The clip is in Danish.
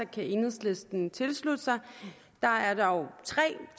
kan enhedslisten tilslutte sig der er dog tre